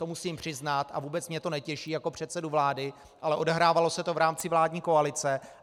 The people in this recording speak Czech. To musím přiznat a vůbec mě to netěší jako předsedu vlády, ale odehrávalo se to v rámci vládní koalice.